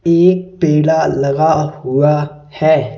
एक ठेला लगा हुआ है।